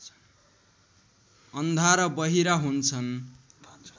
अन्धा र बहिरा हुन्छन्